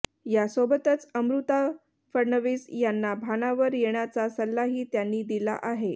यासोबतच अमृता फडणवीस यांना भानावर येण्याचा सल्लाही त्यांनी दिला आहे